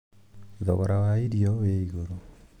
Thogora wa irio wĩ igũrũ